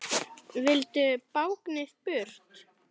Vildu báknið burt.